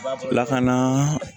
Bilakana